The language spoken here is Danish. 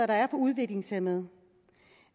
der er for udviklingshæmmede